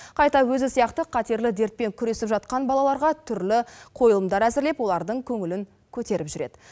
қайта өзі сияқты қатерлі дертпен күресіп жатқан балаларға түрлі қойылымдар әзірлеп олардың көңілін көтеріп жүреді